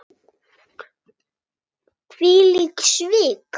Hvílík svik!